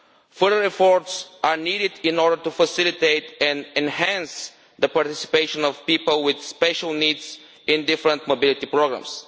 Further efforts are needed in order to facilitate and enhance the participation of people with special needs in different mobility programmes.